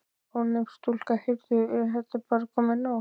Ónefnd stúlka: Heyrðu, er þetta bara komið?